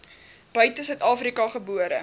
buite suidafrika gebore